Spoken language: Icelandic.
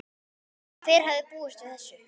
Hver hefði búist við þessu??